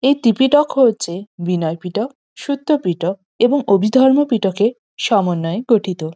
এই ত্রিপিটক হচ্ছে বিনয় পিটক সত্য পিটক এবং অভিধর্ম পিটকের সমন্বয়ে গঠিত।